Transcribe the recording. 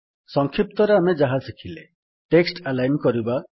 ସଂକ୍ଷିପ୍ତରେ ଆମେ ଯାହା ଶିଖିଲେ ଟେକ୍ସଟ୍ ଆଲାଇନ୍ କରିବା